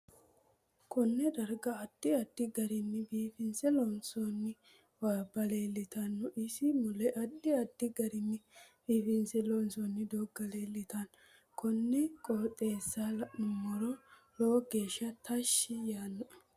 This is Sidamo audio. Konee darga addi addi garinni biifinse loonsooni awabba leeltanno isi mule addi addi garinni biifinse loonsooni dooga leeltanno konne qooxeesa laoomoro lowo geesha tashi yaanoe